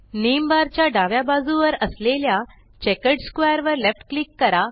name bar च्या डाव्या बाजुवर असलेल्या चेकर्ड स्क्वेअर वर लेफ्ट क्लिक करा